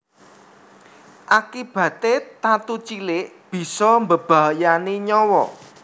Akibaté tatu cilik bisa mbebayani nyawa